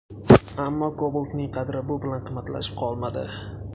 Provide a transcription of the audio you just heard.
Ammo Cobalt’ning qadri bu bilan qimmatlashib qolmadi.